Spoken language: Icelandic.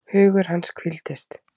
Hugur hans hvíldist.